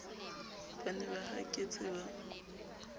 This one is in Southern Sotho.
ba ne ba haketse ba